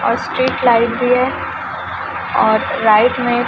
और street light भी है और राइट में--